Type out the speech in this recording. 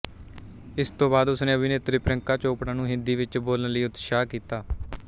ਇਸ ਤੋਂ ਬਾਅਦ ਉਸ ਨੇ ਅਭਿਨੇਤਰੀ ਪ੍ਰਿਯੰਕਾ ਚੋਪੜਾ ਨੂੰ ਹਿੰਦੀ ਵਿੱਚ ਬੋਲਣ ਲਈ ਉਤਸ਼ਾਹਤ ਕੀਤਾ